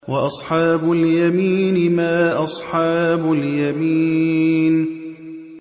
وَأَصْحَابُ الْيَمِينِ مَا أَصْحَابُ الْيَمِينِ